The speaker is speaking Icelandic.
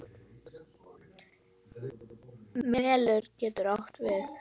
Melur getur átt við